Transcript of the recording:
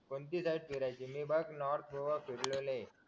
कोणती नाय फिरायचं मी बघ नॉर्थ गोवा फिरलेलो हाय